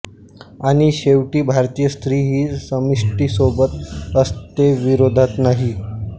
आणि शेवटी भारतीय स्त्री ही समष्टीसोबत असते विरोधात नाही